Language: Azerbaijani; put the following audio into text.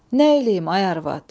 Nə eləyim, ay arvad?